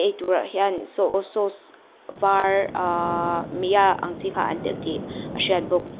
eitur ah hian soy sauce var ahh meya ang chi kha an telh tih a hriat bawk.